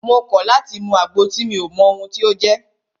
Mo kọ̀ láti mú àgbo tí mi ò mọ ohun tí o jẹ́!